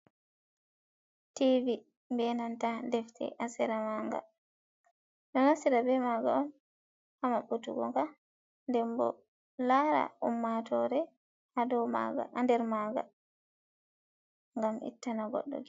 Ti vi, benanta defte ha sera maga, ɗo naftira be maga on ha maɓɓutugo nga nden bo lara ummatore ha nder maga gam ittana goddo.